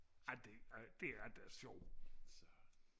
ej det det er da sjovt